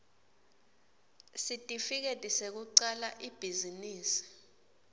sitifiketi sekucala ibhizinisi